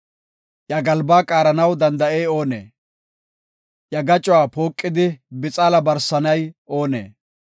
Iya galbaa qaaranaw danda7ey oonee? Iya gacuwa pooqidi bixaala barsanay oonee?